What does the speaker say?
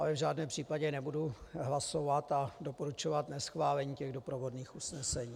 Ale v žádném případě nebudu hlasovat a doporučovat neschválení těch doprovodných usnesení.